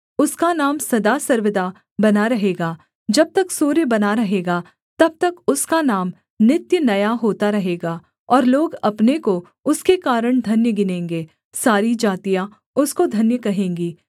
उसका नाम सदा सर्वदा बना रहेगा जब तक सूर्य बना रहेगा तब तक उसका नाम नित्य नया होता रहेगा और लोग अपने को उसके कारण धन्य गिनेंगे सारी जातियाँ उसको धन्य कहेंगी